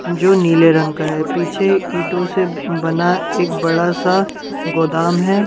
जो नीले रंग का है पीछे ईंटों से बना एक बड़ा सा गोदाम है ।